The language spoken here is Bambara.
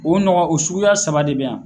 O nɔgɔ o suguya saba de bɛ yan